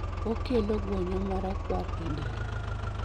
Okelo guonyo marakwar e del